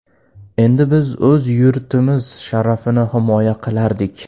Endi biz o‘z yurtimiz sharafini himoya qilardik.